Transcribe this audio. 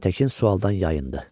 Aytəkin sualdan yayındı.